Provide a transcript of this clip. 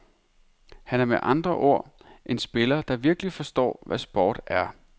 Han er med andre ord en spiller, der virkelig forstår, hvad sport er.